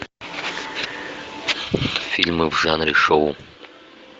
фильмы в жанре шоу